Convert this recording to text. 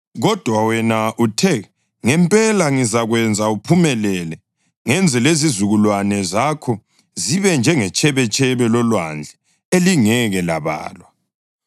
Kodwa wena uthe, ‘Ngempela ngizakwenza uphumelele ngenze lezizukulwane zakho zibe njengetshebetshebe lolwandle elingeke labalwa.’ ”